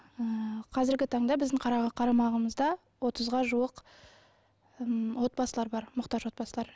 ыыы қазіргі таңда біздің қарамағымызда отызға жуық м отбасылар бар мұқтаж отбасылар